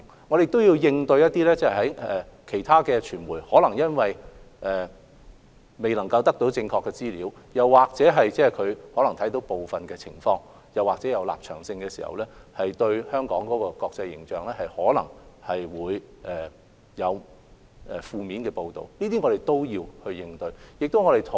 我們亦要應對其他傳媒，他們或許未能獲取正確的資料，或者他們可能只看到部分情況，又或本身有立場，因而可能作出影響香港國際形象的負面報道，我們亦要應對這些情況。